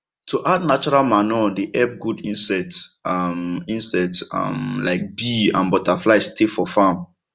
to add natural manure dey help good insects um insects um like bee and butterfly stay for farm